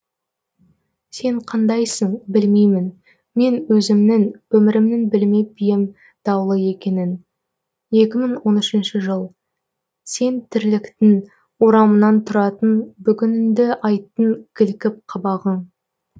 сен қандайсың білмеймін мен өзімнің өмірімнің білмеп ем даулы екенін екі мың он үшінші жыл сен тірліктің орамынан тұратын бүгініңді айттың кілкіп қабағың